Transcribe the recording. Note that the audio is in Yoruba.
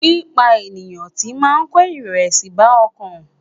Pípa ènìyàn tì máa ń kó ìrẹ̀wẹ̀sì bá ọkàn.